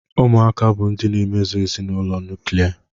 Ụmụaka bụ ndị emezụ ezinụlọ nuklia.